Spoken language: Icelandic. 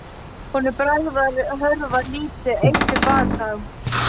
Honum bregður, hörfar lítið eitt til baka.